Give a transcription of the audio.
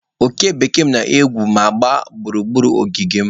Oke bekee m na-egwu ma na-agba gburugburu ogige m.